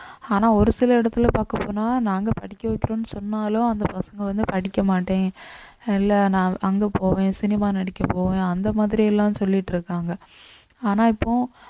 ஆனா ஒரு சில இடத்துல பாக்கப்போனா நாங்க படிக்க வைக்கிறோம்ன்னு சொன்னாலும் அந்த பசங்க வந்து படிக்க மாட்டேன் இல்லை நான் அங்க போவேன் cinema நடிக்க போவேன் அந்த மாதிரி எல்லாம் சொல்லிட்டு இருக்காங்க ஆனா இப்போ